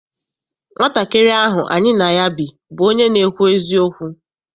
Nwatakịrị ahụ any na ya bi bụ onye na-ekwu eziokwu.